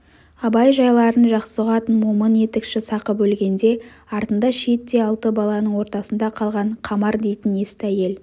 абай жайларын жақсы ұғатын момын етікші сақып өлгенде артында шиеттей алты баланың ортасында қалған қамар дейтін есті әйел